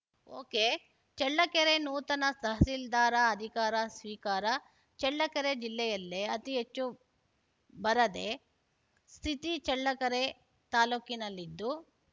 ಒಕೆಚಳ್ಳಕೆರೆ ನೂತನ ತಹಸೀಲ್ದಾರ ಅಧಿಕಾರ ಸ್ವೀಕಾರ ಚಳ್ಳಕೆರೆ ಜಿಲ್ಲೆಯಲ್ಲೇ ಅತಿಹೆಚ್ಚು ಬರದೆ ಸ್ಥಿತಿ ಚಳ್ಳಕೆರೆ ತಾಲೂಕಿನಲ್ಲಿದ್ದು